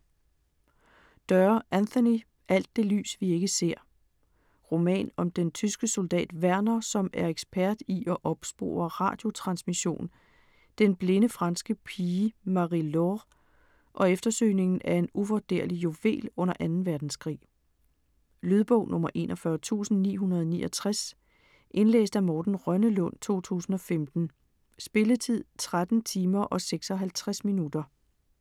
Doerr, Anthony: Alt det lys vi ikke ser Roman om den tyske soldat Werner, som er ekspert i at opspore radiotransmission, den blinde franske pige Marie-Laure, og eftersøgningen af en uvurderlig juvel under 2. verdenskrig. Lydbog 41969 Indlæst af Morten Rønnelund, 2015. Spilletid: 13 timer, 56 minutter.